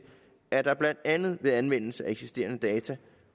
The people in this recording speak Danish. at der blandt andet ved anvendelse af eksisterende data